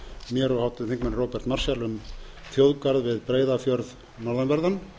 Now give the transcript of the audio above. mér og háttvirtur þingmaður róbert marshall um þjóðgarð við breiðafjörð norðanverðan